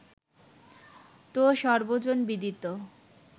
তো সর্বজনবিদিত